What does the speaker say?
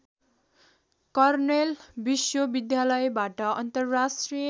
kernel विश्वविद्यालयबाट अन्तर्राष्ट्रिय